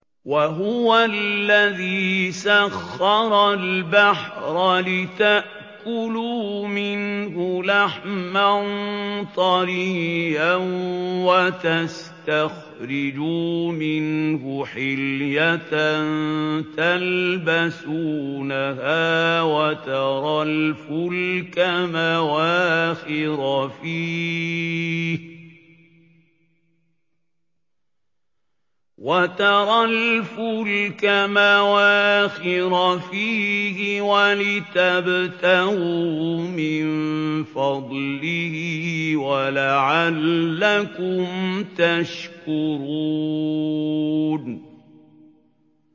وَهُوَ الَّذِي سَخَّرَ الْبَحْرَ لِتَأْكُلُوا مِنْهُ لَحْمًا طَرِيًّا وَتَسْتَخْرِجُوا مِنْهُ حِلْيَةً تَلْبَسُونَهَا وَتَرَى الْفُلْكَ مَوَاخِرَ فِيهِ وَلِتَبْتَغُوا مِن فَضْلِهِ وَلَعَلَّكُمْ تَشْكُرُونَ